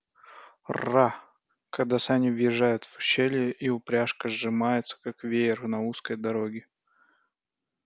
раа когда сани въезжают в ущелье и упряжка сжимается как веер на узкой дороге